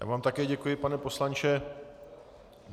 Já vám také děkuji, pane poslanče.